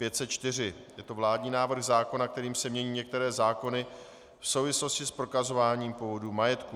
Je to vládní návrh zákona, kterým se mění některé zákony v souvislosti s prokazováním původu majetku.